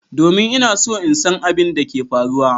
Domin! Ina so in san abin da ke faruwa.